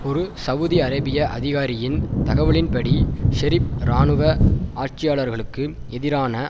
ஒரு சவூதி அரேபிய அதிகாரியின் தகவலின்படி ஷெரீப் இராணுவ ஆட்சியாளர்களுக்கு எதிரான